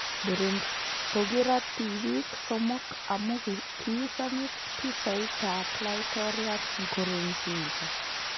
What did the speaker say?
Burundi: Kogirat tibiik somok amu kiisamis pichait ab laitoryat Nkurunzinza